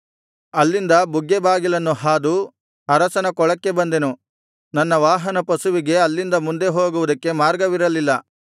ಅಲ್ಲಿಂದ ಬುಗ್ಗೆ ಬಾಗಿಲನ್ನು ಹಾದು ಅರಸನ ಕೊಳಕ್ಕೆ ಬಂದೆನು ನನ್ನ ವಾಹನಪಶುವಿಗೆ ಅಲ್ಲಿಂದ ಮುಂದೆ ಹೋಗುವುದಕ್ಕೆ ಮಾರ್ಗವಿರಲಿಲ್ಲ